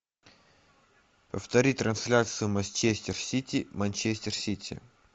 повтори трансляцию манчестер сити манчестер сити